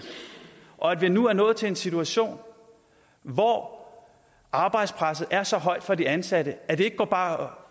og at vi nu er nået til en situation hvor arbejdspresset er så højt for de ansatte at det ikke bare